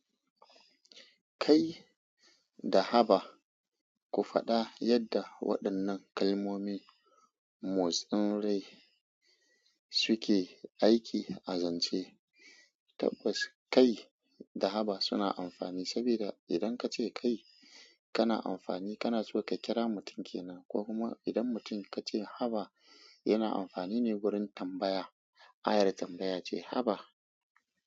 Kai da Haba, ku faɗa yadda waɗannan kalmomi motsin rai suke aiki a zance. Tabbas kai da Haba suna amfani saboda idan kace kai kana amfani kana so ka kira mutum kenan ko kuma idan mutum kace Haba yana amfani ne wurin tambaya. Ayar tambaya ce Haba.